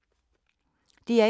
DR1